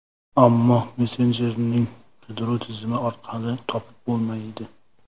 Ammo messenjerning qidiruv tizimi orqali topib bo‘lmaydi.